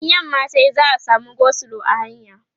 in yamma tayi za'a samu go slow a hanya